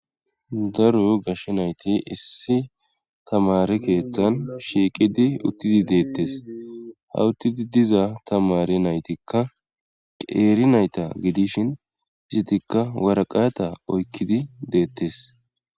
Daro gashe nayti issi tamare keeththan shiiqidi uttidi deettes hawuttidi diza tamare naytikka qeeri nayta gidishin izitikka waraqata oykkidi deettes